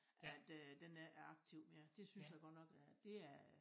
At øh den ik er aktiv mere det synes jeg godt nok er dét er